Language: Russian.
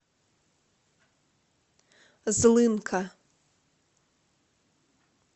злынка